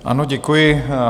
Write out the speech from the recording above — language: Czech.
Ano, děkuji.